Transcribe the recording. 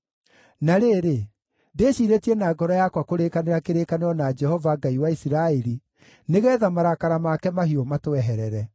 Na rĩrĩ, ndĩciirĩtie na ngoro yakwa kũrĩkanĩra kĩrĩkanĩro na Jehova, Ngai wa Isiraeli, nĩgeetha marakara make mahiũ matweherere.